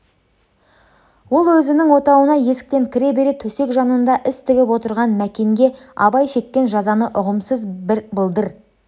ол өзінің отауына есіктен кіре бере төсек жанында іс тігіп отырған мәкенге абай шеккен жазаны ұғымсыз бір былдыр